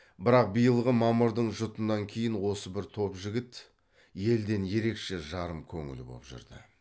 бірақ биылғы мамырдың жұтынан кейін осы бір топ жігіт елден ерекше жарым көңіл боп жүрді